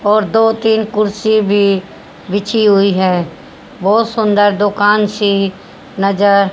और दो तीन कुर्सी भी बिछी हुई है बहुत सुंदर दुकान सी नजर--